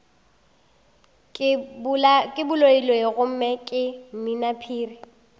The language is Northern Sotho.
ke baloiloi gomme ke mminaphiri